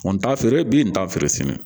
N t'a feere bi n t'a feere sini